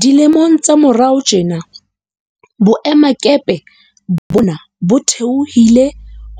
Dilemong tsa morao tjena, boemakepe bona bo theohile